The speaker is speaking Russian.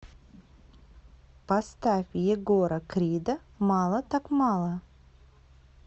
поставь егора крида мало так мало